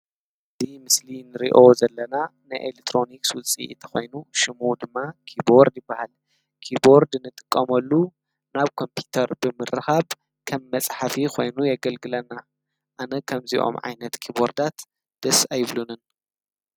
እዚ ምስሊን ንሪኦ ዘለና ንኤሌትሮኒክ ውፅኢት ኾይኑ ሽሙ ድማ ኪብርድ ይበሃል ኪቡርድ ንጥቀመሉ ናብ ኮምፒተር ብምርካብ ከም መፅሐፊ ኾይኑ የገልግለና ኣነ ኸምዚኦም ዓይነት ኪቡርዳት ደስ ኣይብሉንን።